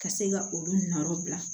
Ka se ka olu nɔ bila